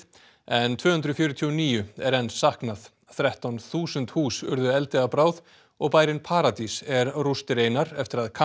en tvö hundruð fjörutíu og níu er enn saknað þrettán þúsund hús urðu eldi að bráð og bærinn paradís er rústir einar eftir að